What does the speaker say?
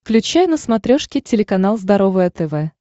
включай на смотрешке телеканал здоровое тв